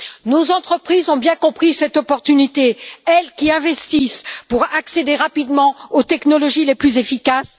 Nos entreprises ont bien compris cet enjeu, elles qui investissent pour accéder rapidement aux technologies les plus efficaces.